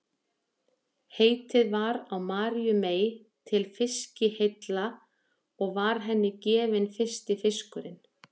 heitið var á maríu mey til fiskiheilla og var henni gefinn fyrsti fiskurinn